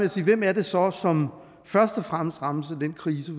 at sige hvem er det så som først og fremmest rammes af den krise